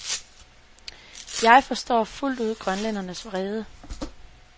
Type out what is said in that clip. Jeg forstår fuldt ud grønlændernes vrede.